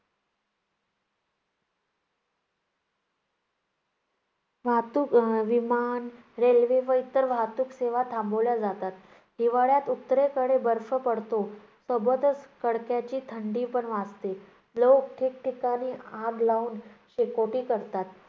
वाहतूक अं विमान, रेल्वे व इतर वाहतूक सेवा थांबवल्या जातात. हिवाळ्यात उत्तरेकडे बर्फ पडतो सोबतच कडाक्याची थंडी पण वाजते. लोक ठीक-ठिकाणी आग लाऊन शेकोटी करतात.